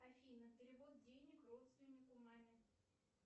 афина перевод денег родственнику маме